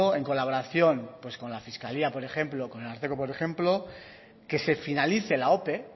en colaboración con la fiscalía por ejemplo con el ararteko por ejemplo que se finalice la ope